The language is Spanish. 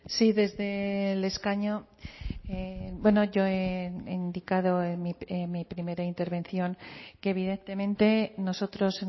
sí desde el escaño bueno yo he indicado en mi primera intervención que evidentemente nosotros